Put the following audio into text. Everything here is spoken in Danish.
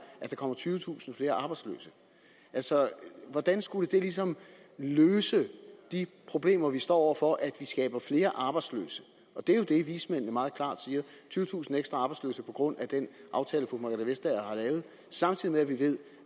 at der kommer tyvetusind flere arbejdsløse hvordan skulle det ligesom løse de problemer vi står over for at vi skaber flere arbejdsløse det er jo det vismændene meget klart siger tyvetusind ekstra arbejdsløse på grund af den aftale fru margrethe vestager har lavet samtidig ved vi